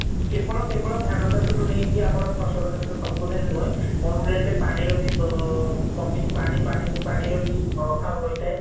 କେବେଳ କେବେଳ ଧାନ ଚାଷ ରୁ ନେଇକି ଆମର ଫସଲ ସବୁଥିରେ ନୁହେଁ ମରୁଷି ହୀ ପାଣିର ବି ଅ କମି ପାଣି ପାଣି ପାଣିର ବି ଅଭାବ ରହିଥାଏ